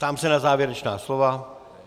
Ptám se na závěrečná slova.